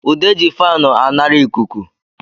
Ude ji faanu anara ịkụkụ